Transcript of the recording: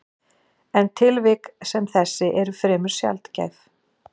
En tilvik sem þessi eru fremur sjaldgæf.